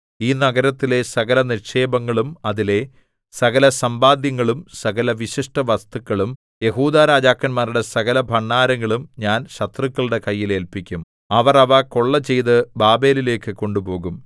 ഈ നഗരത്തിലെ സകലനിക്ഷേപങ്ങളും അതിലെ സകലസമ്പാദ്യങ്ങളും സകല വിശിഷ്ടവസ്തുക്കളും യെഹൂദാ രാജാക്കന്മാരുടെ സകലഭണ്ഡാരങ്ങളും ഞാൻ ശത്രുക്കളുടെ കയ്യിൽ ഏല്പിക്കും അവർ അവ കൊള്ള ചെയ്ത് ബാബേലിലേക്കു കൊണ്ടുപോകും